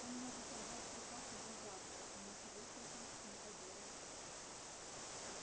он может отдать приказ уже завтра и ничего с этим не поделаешь